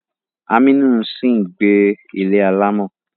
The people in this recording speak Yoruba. Aminu ń sì gbé ilé alámọ̀.